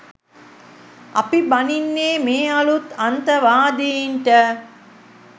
අපි බනින්නේ මේ අලුත් අන්තවාදින්ට